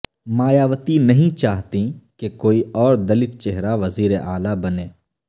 مایاوتی نہیں چاہتیں کہ کوئی اور دلت چہرہ وزیراعلی بنے